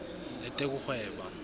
letekuhweba